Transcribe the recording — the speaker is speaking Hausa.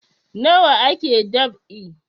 Nawa ake dab'i